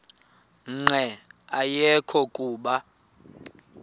nqe ayekho kuba